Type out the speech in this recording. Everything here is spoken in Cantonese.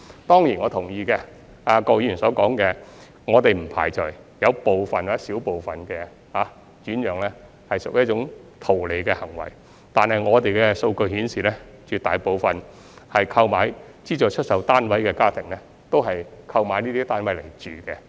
當然，我同意郭議員所說的，我們不排除有部分或小部分轉讓屬於圖利行為，但我們的數據顯示，絕大部分購買資助出售單位的家庭都是作自住用途。